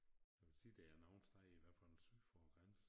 Jeg vil sige der er nogle steder i hvert fald syd for æ grænse